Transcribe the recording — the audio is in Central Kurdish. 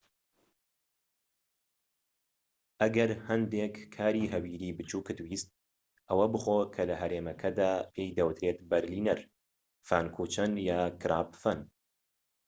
ئەگەر هەندێك کاری هەویریی بچوکت ویست ئەوە بخۆ کە لەهەرێمەکەدا پێی دەوترێت بەرلینەر فانکوچەن یان کراپفەن